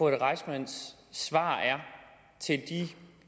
reissmann svar er til de